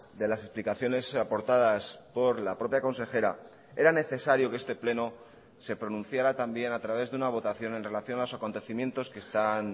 de las explicaciones aportadas por la propia consejera era necesario que este pleno se pronunciará también a través de una votación en relación a los acontecimientos que están